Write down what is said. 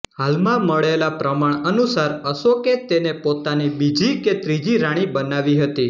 હાલમાં મળેલ પ્રમાણ અનુસાર અશોકે તેને પોતાની બીજી કે ત્રીજી રાણી બનાવી હતી